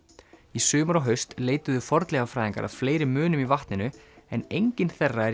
í sumar og haust leituðu fornleifafræðingar að fleiri munum í vatninu en enginn þeirra er